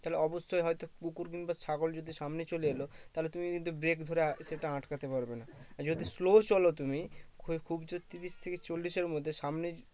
তাহলে অব্যশই হয়তো কুকুর বা ছাগল যদি সামনে চলে এলো তাহলে কিন্তু তুমি break ধরে সেটা আটকাতে পারবে না আর যদি slow চলো তুমি কই খুব জোর তিরিশ থেকে চল্লিশের মধ্যে সামনে